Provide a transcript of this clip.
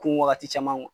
Kun wagati caman